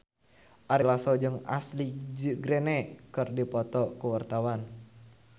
Ari Lasso jeung Ashley Greene keur dipoto ku wartawan